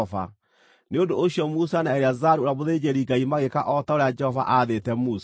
Nĩ ũndũ ũcio Musa na Eleazaru ũrĩa mũthĩnjĩri-Ngai magĩĩka o ta ũrĩa Jehova aathĩte Musa.